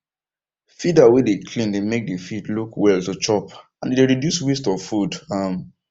feeder way dey clean dey make the feed look well to chop and e dey reduce waste of food um